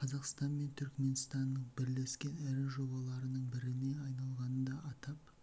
қазақстан мен түрікменстанның бірлескен ірі жобаларының біріне айналғанын да атап